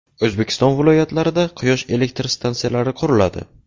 O‘zbekiston viloyatlarida quyosh elektr stansiyalari quriladi.